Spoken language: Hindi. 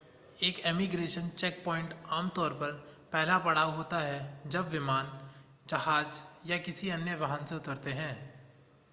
एक इमीग्रेशन चेकपॉइंट आमतौर पर पहला पड़ाव होता है जब विमान जहाज़ या किसी अन्य वाहन से उतरते हैं